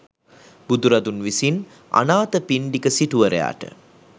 බුදුරදුන් විසින් අනාථපිණ්ඩික සිටුවරයාට